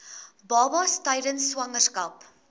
babas tydens swangerskap